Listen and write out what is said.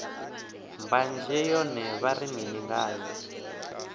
mbanzhe yone vha ri mini ngayo